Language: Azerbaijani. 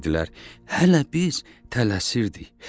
Hələ biz tələsirdik.